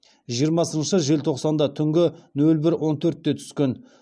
жиырмасыншы желтоқсанда түнгі нөл бір он төртте түскен